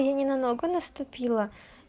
я ни на ногу наступила